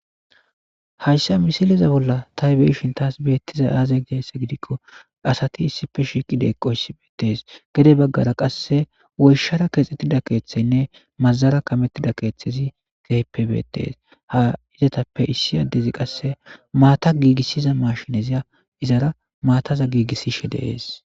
Hayssa misileza bolla taybeishin taas beettiza aazay giyayssa gidikko asati issife shiiqi deeqqoyssi beettees gede baggara qasse woyshara keexettida keeththeynne mazara kamettida keeththezi geyppe beettees ha izatappe issi addezi qasse maata giigissiza mashineziya izara maataza giigissishe dees.